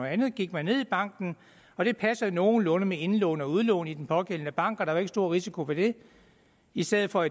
andet gik man ned i banken og det passende nogenlunde med indlån og udlån i den pågældende bank og der var ikke stor risiko ved det i stedet for